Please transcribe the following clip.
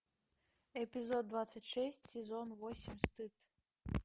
эпизод двадцать шесть сезон восемь стыд